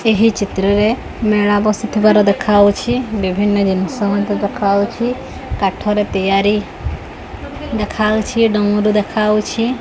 ଏହି ଚିତ୍ରରେ ମେଳା ବସିଥିବାର ଦେଖାଯାଉଛି ବିଭିନ୍ନ ଜିନିଷ ମଧ୍ୟ ଦେଖାଯାଉଛି କାଠରେ ତିଆରି ଦେଖାଯାଉଛି ଡମ୍ବୁରୁ ଦେଖାଯାଉଛି।